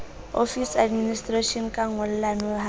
office administration ka ngollano ha